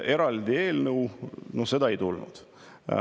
Eraldi eelnõu ei tulnud.